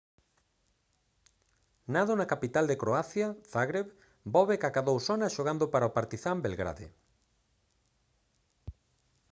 nado na capital de croacia zagreb bobek acadou sona xogando para o partizan belgrade